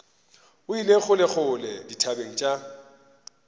o ile kgolekgole dithabeng tša